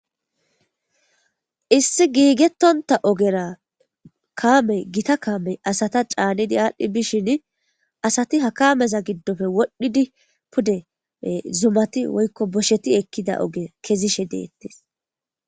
Issi giigetonta oggera kaamey gita kaamey asa caanidi adhdhi bishin asati ha kameza gidoppe wodhdhidi pude zumati woyko boshsheti ekida ogge kezishe dettes.